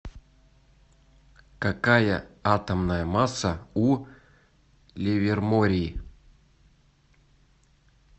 какая атомная масса у ливерморий